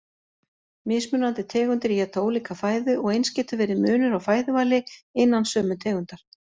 Mismunandi tegundir éta ólíka fæðu og eins getur verið munur á fæðuvali innan sömu tegundar.